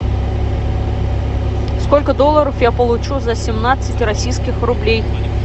сколько долларов я получу за семнадцать российских рублей